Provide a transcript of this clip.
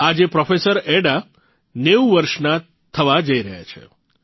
આજે professor Ada અલબ્રેસ્ટ ૯૦ વર્ષના થવા જઇ રહ્યા છે